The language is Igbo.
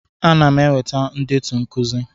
Ana m eweta ndetu nkuzi.